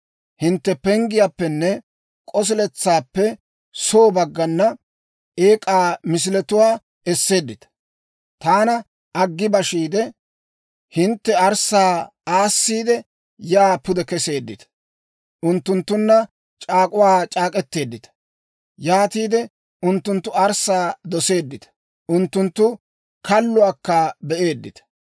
Hintte penggiyaappenne k'osiletsaappe soo baggana eek'aa misiletuwaa esseeddita. Taana aggi bashiide, hintte arssaa aassiide, yaa pude keseeddita. Unttunttunna c'aak'uwaa c'aak'k'etteeddita; yaatiide unttunttu arssaa doseeddita; unttunttu kalluwaakka be'eeddita.